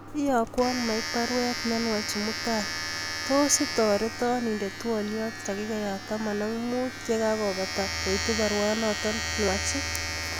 Iyokwo Mike baruet nenwach mutai, tos itorote inde twoliot dakikayat taman ak muut yekakobata koitu baruanata nwach